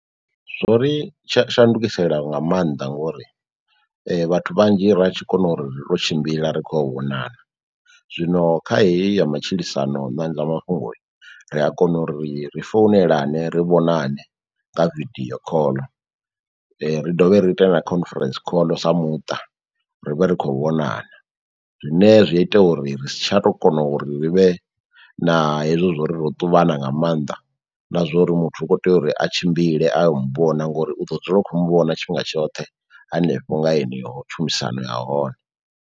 Zwo ri tsha shandukisela nga mannḓa ngori vhathu vhanzhi ra tshi kona uri ri to tshimbila ri khoyo u vhonana. Zwino kha heyi ya matshilisano na zwa mafhungo ri a kona uri ri founelane, ri vhonane nga video call , ri dovhe ri ite na conference call sa muṱa, ri vhe ri khou vhonana zwine zwi ita uri ri si tsha to kona uri ri vhe na hezwo zwo ri ro ṱuvhana nga mannḓa na zwouri muthu u kho tea uri a tshimbile ayo muvhona ngori u ḓo dzula u kho mu vhona tshifhinga tshoṱhe hanefho nga heneyo tshumisano ya hone.